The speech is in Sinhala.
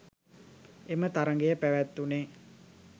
එම තරඟය පැවැත්වුණේ